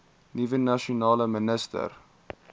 nuwe nasionale minister